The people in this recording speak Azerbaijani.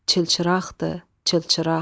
Çılçıraqdır, çılçıraq.